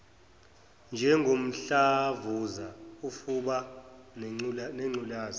njengomdlavuza ufuba nengculaza